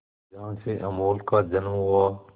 जहां से अमूल का जन्म हुआ